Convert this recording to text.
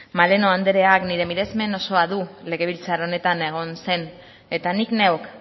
maleno andreak nire miresmen osoa du legebiltzar honetan egon zen eta nik neuk